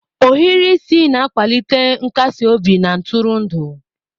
Ohiri isi na-akwalite nkasi obi na ntụrụndụ.